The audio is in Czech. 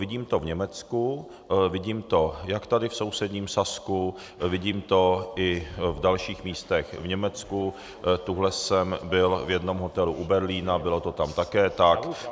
Vidím to v Německu, vidím to jak tady v sousedním Sasku, vidím to i v dalších místech v Německu, tuhle jsem byl v jednom hotelu u Berlína, bylo to tam také tak.